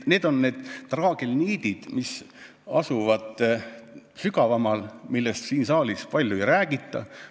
Need on need traagelniidid, mis asuvad sügavamal, siin saalis nendest palju ei räägita.